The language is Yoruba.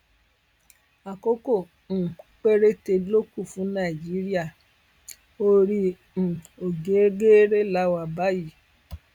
àkókò um péréte ló kù fún nàìjíríà orí um ọgẹgẹrẹ la wà báyìí